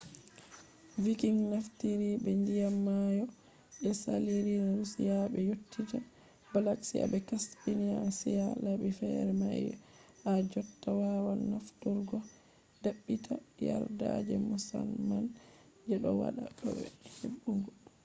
vikings naftiri be ndiyam mayo je saliri russia ɓe yottita black sea be caspian sea. labi fere mai ha jotta wawan nafturgo. ɗaɓɓita yarda je musamman je ɗo waɗa bo ne heɓugo